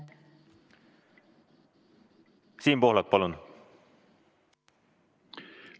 Siim Pohlak, palun!